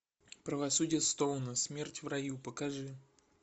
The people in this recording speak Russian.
правосудие стоуна смерть в раю покажи